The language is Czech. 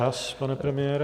Čas, pane premiére.